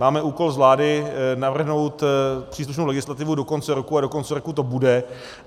Máme úkol z vlády navrhnout příslušnou legislativu do konce roku a do konce roku to bude.